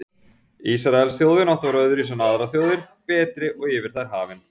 Ísraelsþjóðin átti að vera öðruvísi en aðrar þjóðir, betri og yfir þær hafin.